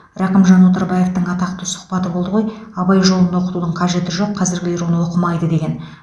рақымжан отарбаевтың атақты сұхбаты болды ғой абай жолын оқытудың қажеті жоқ қазіргілер оны оқымайды деген